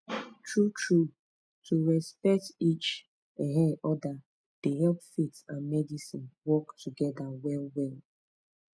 truetrue to respect each um other dey help faith and medicine work together well well